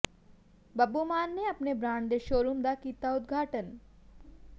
ਬੱਬੂ ਮਾਨ ਨੇ ਆਪਣੇ ਬਰਾਂਡ ਦੇ ਸ਼ੋਅਰੂਮ ਦਾ ਕੀਤਾ ਉਦਘਾਟਨ